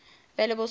available source code